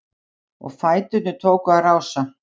Og fæturnir tóku að rása-